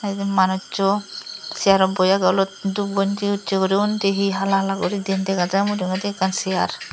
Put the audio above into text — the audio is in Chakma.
etey manussuno seyarot boi agey olot dup gonji ussey guri undi hi hala hala guri diyen dega jai mujungedi ekkan seyar.